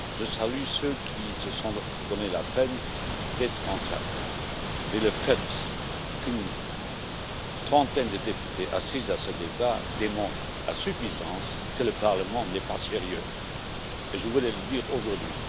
Je salue ceux qui se sont donné la peine de se déplacer ici, mais le fait qu'une trentaine de députés seulement assiste à ce débat démontre à suffisance que le Parlement n'est pas sérieux, et je voulais le dire aujourd'hui.